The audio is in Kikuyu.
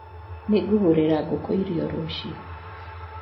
Nĩ ngũgurĩra ngũkũ irio rũcio